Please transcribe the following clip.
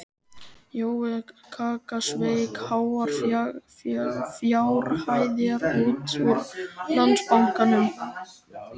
Jói kaka sveik háar fjárhæðir út úr Landsbankanum á